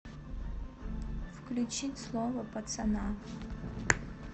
включить слово пацана